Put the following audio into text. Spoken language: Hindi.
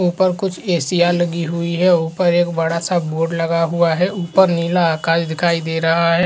ऊपर कुछ ऐसिया लगी हुई है। ऊपर एक बड़ा सा बोर्ड लगा हुआ है। ऊपर नीला आकाश दिखाई दे रहा है।